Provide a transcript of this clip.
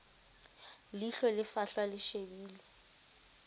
leihlo le fahlwa le shebile